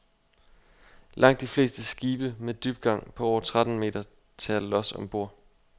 Langt de fleste skibe med dybgang på over tretten meter tager lods om bord.